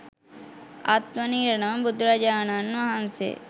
අත්වන ඉරණම බුදුරජාණන් වහන්සේ